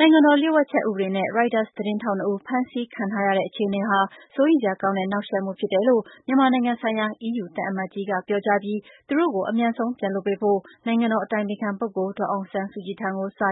နိုင်ငံတော် လျှို့ဝှက်ချက် ဥပဒေနဲ့ Reuters သတင်းထောက်နှစ်ဦး ဖမ်းဆီးခံထားရတဲ့ အခြေ အနေဟာ စိုးရိမ်စရာကောင်းတဲ့ နှောင့်ယှက်မှုဖြစ်တယ်လို့ မြန်မာနိုင်ငံဆိုင်ရာ အီးယူသံအမတ်ကြီးက ပြောကြားပြီး သူတို့ကို အမြန်ဆုံးပြန်လွှတ်ပေးဖို့ နိုင်ငံတော် အတိုင်ပင်ခံပုဂ္ဂိုလ် ဒေါ်အောင်ဆန်း စုကြည်ထံ စာ